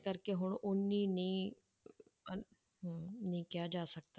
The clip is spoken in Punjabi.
ਕਰਕੇ ਹੁਣ ਓਨੀ ਨਹੀਂ ਹਨਾ ਹਮ ਨੀ ਕਿਹਾ ਜਾ ਸਕਦਾ।